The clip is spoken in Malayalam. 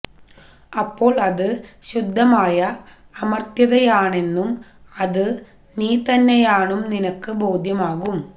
അപ്പോൾ അത് ശുദ്ധമായ അമർത്ത്യതയാണെന്നും അത് നീതന്നെയാണും നിനക്ക് ബോദ്ധ്യമാകും